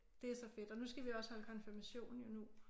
Det er så fedt og nu skal vi også holde konfirmation jo nu